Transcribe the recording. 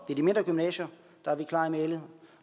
er de mindre gymnasier der er vi klare i mælet